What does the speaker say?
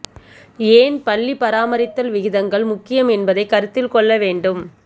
ஏன் பள்ளி பராமரித்தல் விகிதங்கள் முக்கியம் என்பதை கருத்தில் கொள்ள வேண்டும்